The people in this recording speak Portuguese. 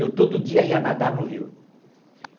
Eu todo dia ia nadar no rio.